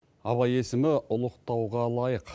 абай есімі ұлықтауға лайық